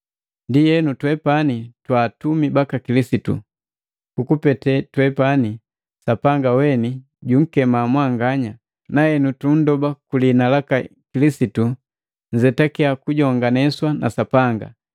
Ndienu twepani twa atumi baka Kilisitu. Kukupete twepani Sapanga weni junkema mwanganya, na henu tundoba ku liina laka Kilisitu, nzetakiya kujonganeswa na Sapanga.